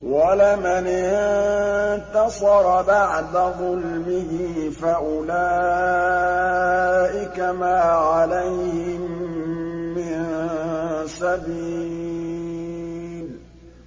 وَلَمَنِ انتَصَرَ بَعْدَ ظُلْمِهِ فَأُولَٰئِكَ مَا عَلَيْهِم مِّن سَبِيلٍ